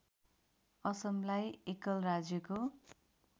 असमलाई एकल राज्यको